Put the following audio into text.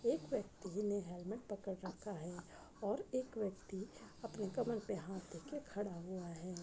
एक व्यक्ति ने हेलमेट पकड़ रखा है और एक व्यक्ति अपने कमर पे हाथ रख के खडा़ हुआ है।